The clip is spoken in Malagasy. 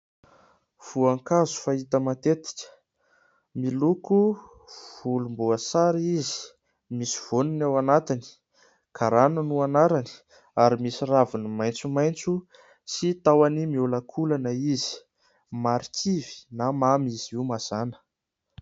Voankazo fahita matetika miloko volomboasary izy, misy voaniny ao anatiny, garàna no anarany, ary misy raviny maitsomaitso sy tahony miolakolana izy, marikivy na mamy izy io mazàna.